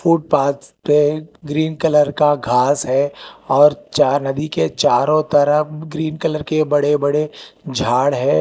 Footpath पे green colour का घास है और चार नदी के चारो तरफ ग्रीन कलर के बड़े बड़े झाड़ है।